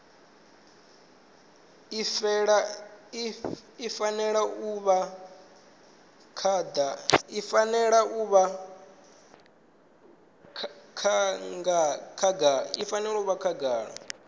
i fanela u vha khagala